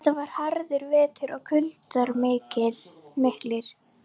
Þetta var harður vetur og kuldar miklir.